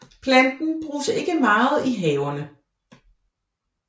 Planten bruges ikke meget i haverne